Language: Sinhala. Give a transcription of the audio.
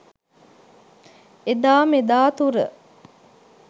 එදා මෙදා තුර